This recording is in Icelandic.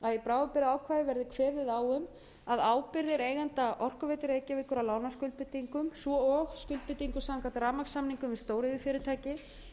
bráðabirgðaákvæði verði kveðið á um að ábyrgðir eigenda orkuveitu reykjavíkur á lánaskuldbindingum svo og skuldbindingum samkvæmt rammasamningum við stóriðjufyrirtæki sem stofnað hefur verið